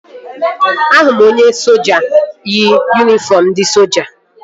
Ahụrụ m onye soja yi yunifọm ndị soja